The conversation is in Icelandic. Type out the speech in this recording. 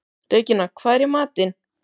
Regína, hvað er í matinn?